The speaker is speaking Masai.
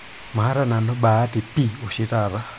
maata nanu bahati pii oshitaata